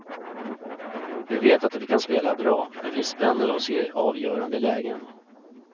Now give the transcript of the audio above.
Vi vet att vi kan spela bra men vi spänner oss i avgörande lägen.